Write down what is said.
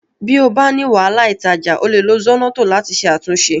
Bí o bá ní wàhálà ìtajà, o lè lo Zornoto láti ṣe àtúnṣe